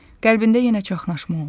Qəlbində yenə çaşqınlıq oldu.